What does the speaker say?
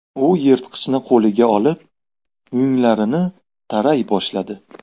U yirtqichni qo‘liga olib, yunglarini taray boshladi.